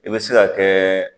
I bɛ se ka kɛ.